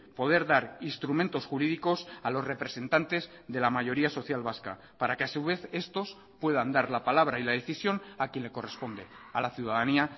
poder dar instrumentos jurídicos a los representantes de la mayoría social vasca para que a su vez estos puedan dar la palabra y la decisión a quien le corresponde a la ciudadanía